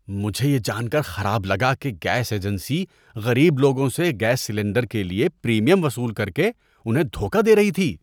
مجھے یہ جان کر خراب لگا کہ گیس ایجنسی غریب لوگوں سے گیس سلنڈر کے لیے پریمیم وصول کر کے انھیں دھوکہ دے رہی تھی۔